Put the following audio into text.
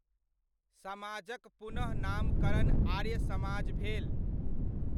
समाजक पुनः नामकरण आर्य समाज भेल।